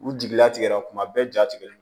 U jigila tigɛra kuma bɛɛ ja tigɛlen